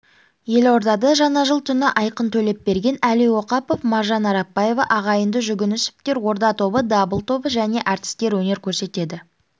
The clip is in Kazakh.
елордада жаңа жыл түні айқын төлепберген әли оқапов маржан арапбаева ағайынды жүгінісовтер орда тобы дабыл тобы және әртістер өнер көрсетеді